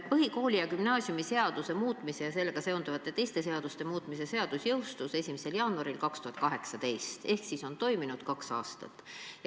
Põhikooli- ja gümnaasiumiseaduse muutmise ja sellega seonduvalt teiste seaduste muutmise seadus jõustus 1. jaanuaril 2018 ehk on toiminud kaks aastat.